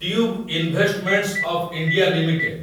tube investments of India limited